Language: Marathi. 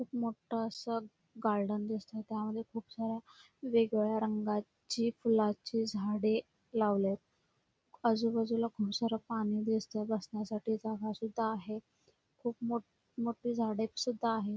खुप मोठ अस गार्डन दिसतय त्यामध्ये खुप साऱ्या वेगवेगळ्या रंगाची फुलाची झाडे लावलेत आजूबाजूला खुप सार पाणी दिसतय बसण्यासाठी जागा पण आहे खुप मोठ मोठी झाडे सुद्धा आहेत|